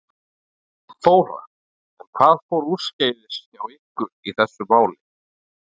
Þóra: En hvað fór úrskeiðis hjá ykkur í þessu máli?